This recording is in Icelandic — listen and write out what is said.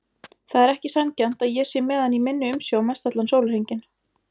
Það er ekki sanngjarnt að ég sé með hann í minni umsjá mestallan sólarhringinn.